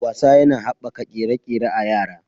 Wasa yana haɓaka ƙere-ƙere a yara.